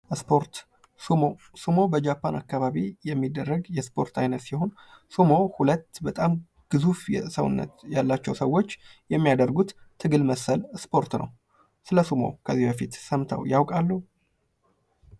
ስፖርት በጃፓን አካባቢ የሚደረግ የስፖርት ዓይነት ሲሆን ስሙ ሁለት በጣም ግዙፍ የሆነ ሰውነት ያላቸው ሰዎች የሚያደርጉት ትግል መሰል ስፖርት ነው ።ስለ ስሙ ከዚህ በፊት ሰምተው ያውቃሉ?